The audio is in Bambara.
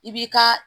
I b'i ka